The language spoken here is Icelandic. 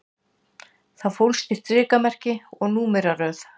Það fólst í strikamerki og númeraröð